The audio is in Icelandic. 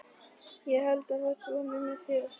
Ég ætla að koma með þér!